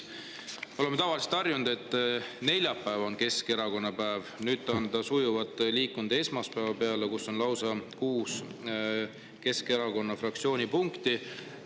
Me oleme tavaliselt harjunud, et neljapäev on Keskerakonna päev, nüüd on see aga sujuvalt liikunud esmaspäeva peale, kui on lausa kuus Keskerakonna fraktsiooni punkti.